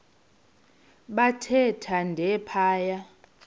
bathe thande phaya